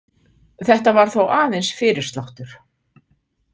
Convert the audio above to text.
Þetta var þó aðeins fyrirsláttur.